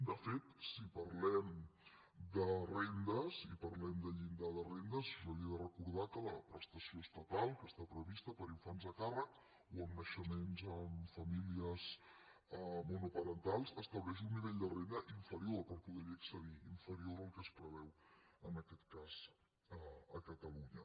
de fet si parlem de rendes si parlem del llindar de rendes jo li he de recordar que la prestació estatal que està prevista per a infants a càrrec o en naixe·ments en famílies monoparentals estableix un nivell de renda inferior per poder·hi accedir inferior al que es preveu en aquest cas a catalunya